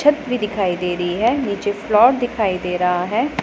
छत भी दिखाई दे रही है नीचे फ्लोर दिखाई दे रहा है।